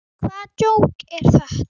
Hvaða djók er þetta?